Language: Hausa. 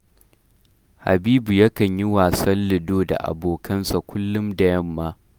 Habibu yakan yi wasan lido da abokansa kullum da yamma